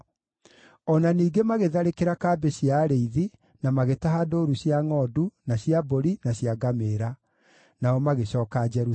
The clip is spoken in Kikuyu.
O na ningĩ magĩtharĩkĩra kambĩ cia arĩithi na magĩtaha ndũũru cia ngʼondu, na cia mbũri, na cia ngamĩĩra. Nao magĩcooka Jerusalemu.